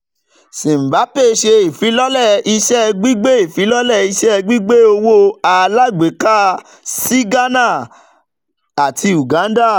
simbapay ṣe ifilọlẹ iṣẹ gbigbe ifilọlẹ iṣẹ gbigbe owo alagbeka si ghana ati uganda